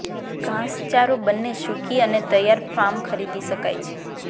ઘાસચારો બંને સૂકી અને તૈયાર ફોર્મ ખરીદી શકાય છે